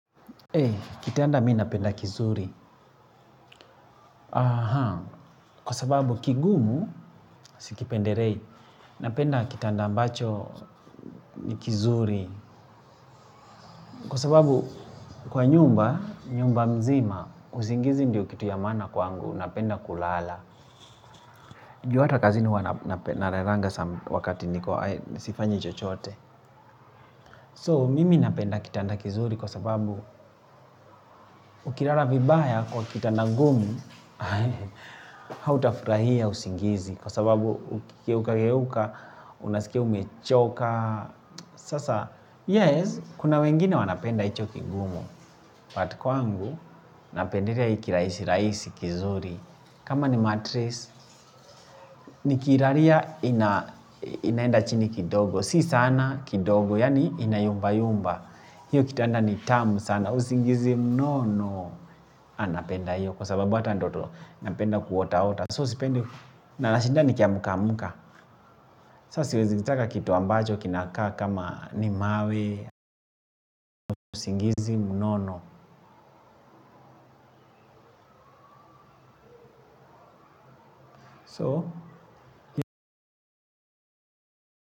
Kitanda mi napenda kizuri, kwa sababu kigumu, sikipendelei, napenda kitanda ambacho ni kizuri, kwa sababu kwa nyumba, nyumba mzima, usingizi ndiyo kitu ya maana kwangu, napenda kulala. Juu hata kazi ni huwa nape nalalanga wakati ni sifanyi chochote. So, mimi napenda kitanda kizuri kwa sababu ukilala vibaya kwa kitanda ngumu, hau tafurahia usingizi kwa sababu ukigeuka ukigeuka, unaskia umechoka. Sasa, yes, kuna wengine wanapenda ichoki gumu. But kwangu, napendilea hikiraisi, raisi, kizuri. Kama ni matress nikiiraria inaenda chini kidogo. Si sana kidogo. Yani inayumba yumba. Hiyo kitanda ni tamu sana. Usingizi mnono. Anapenda hiyo. Kwa sababu hata ndoto napenda kuotaota So sipende na nashinda ni kiamuka muka. Sasi wezitaka kitu ambacho kinakaa kama ni mawe. Usingizi mnono So.